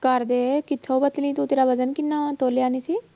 ਕਰਦੇ ਕਿੱਥੋਂ ਪਤਲੀ ਤੂੰ ਤੇਰਾ ਵਜ਼ਨ ਕਿੰਨਾ ਵਾਂ ਤੋਲਿਆ ਨੀ ਸੀ